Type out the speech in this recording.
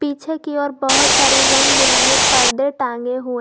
पीछे की ओर बहोत सारे रंग बिरंगे पर्दे टांगे हुए--